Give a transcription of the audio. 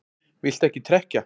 Viltu ekki trekkja?